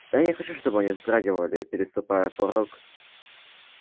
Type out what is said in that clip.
я не хочу чтобы они вздрагивали переступая порог